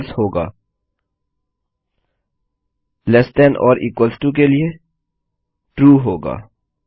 फलसे होगा less than छोटा या इक्वल टो बराबर के लिए ट्रू होगा